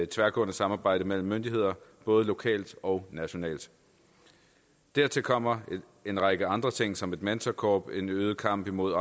tværgående samarbejde mellem myndigheder både lokalt og nationalt dertil kommer en række andre ting som et mentorkorps en øget kamp imod